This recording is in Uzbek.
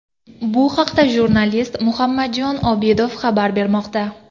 Bu haqda jurnalist Muhammadjon Obidov xabar bermoqda.